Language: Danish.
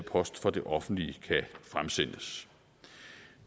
post fra det offentlige kan fremsendes